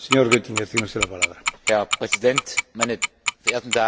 Herr Präsident, meine verehrten Damen und Herren Abgeordnete!